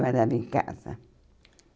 trabalhava em casa.